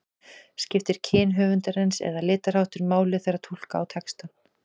Skiptir kyn höfundarins eða litarháttur máli þegar túlka á textann?